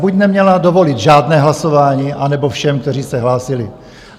Buď neměla dovolit žádné hlasování, anebo všem, kteří se hlásili.